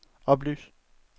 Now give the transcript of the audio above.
oplys